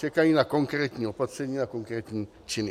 Čekají na konkrétní opatření a konkrétní činy.